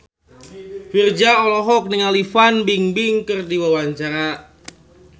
Virzha olohok ningali Fan Bingbing keur diwawancara